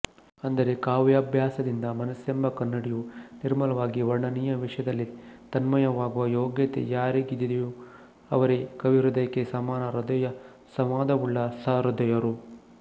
ಅಂದರೆ ಕಾವ್ಯಾಭ್ಯಾಸದಿಂದ ಮನಸ್ಸೆಂಬ ಕನ್ನಡಿಯು ನಿರ್ಮಲವಾಗಿ ವರ್ಣನೀಯ ವಿಷಯದಲ್ಲಿ ತನ್ಮಯವಾಗುವ ಯೋಗ್ಯತೆ ಯಾರಿಗಿದೆಯೋ ಅವರೇ ಕವಿಹೃದಯಕ್ಕೆ ಸಮಾನ ಹೃದಯಸಂವಾದವುಳ್ಳ ಸಹೃದಯರು